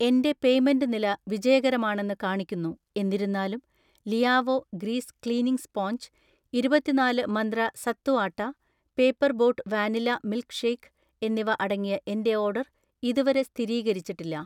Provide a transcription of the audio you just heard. എന്‍റെ പേയ്‌മെന്റ് നില വിജയകരമാണെന്ന് കാണിക്കുന്നു, എന്നിരുന്നാലും ലിയാവോ ഗ്രീസ് ക്ലീനിംഗ് സ്പോഞ്ച്, ഇരുപത്തിനാല് Mantra sattu atta, paper boat vanilla milk shake എന്നിവ അടങ്ങിയ എന്‍റെ ഓർഡർ ഇതുവരെ സ്ഥിരീകരിച്ചിട്ടില്ല.